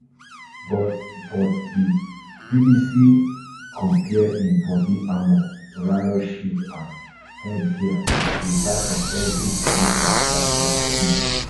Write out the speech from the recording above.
but but di bbc compare im body armour riot shield and headgear wit dat of evri police officer for di scene